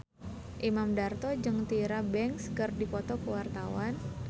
Imam Darto jeung Tyra Banks keur dipoto ku wartawan